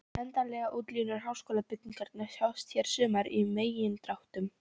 Endanlegar útlínur háskólabyggingarinnar sjást hér sumar í megindráttum.